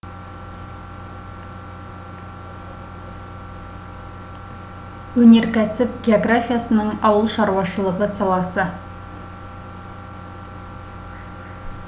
өнеркәсіп географиясының ауыл шаруашылығы саласы